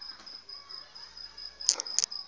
di sa fohlwa o a